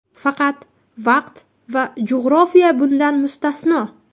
Faqat vaqt va jo‘g‘rofiya bundan mustasno.